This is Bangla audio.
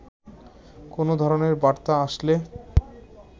কোন ধরনের বার্তা আসলে